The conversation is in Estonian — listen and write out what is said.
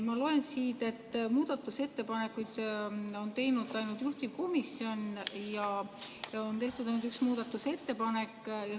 Ma loen siit, et muudatusettepaneku on teinud ainult juhtivkomisjon ja et on tehtud ainult üks muudatusettepanek.